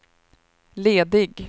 ledig